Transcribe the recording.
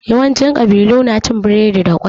Yawanci ƙabilu na cin biredi da ƙwai.